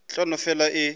e tla no fela e